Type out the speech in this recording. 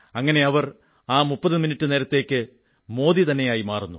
ഇങ്ങനെ അവർ ആ 30 മിനിട്ടു നേരത്തേക്ക് മോദി തന്നെയായി മാറുന്നു